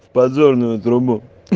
в подзорную трубу